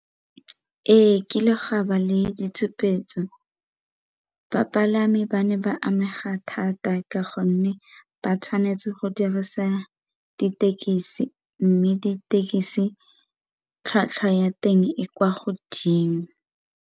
Ee, kile gwa ba le ditshupetso bapalami ba ne ba amega thata ka gonne ba tshwanetse go dirisa ditekisi mme ditekisi tlhwatlhwa ya teng e kwa godimo.